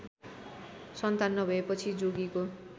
सन्तान नभएपछि जोगीको